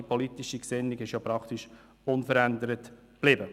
Die politische Gesinnung ist jedoch praktisch unverändert geblieben.